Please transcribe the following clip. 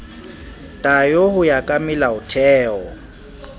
tayo ho ya ka melaotheo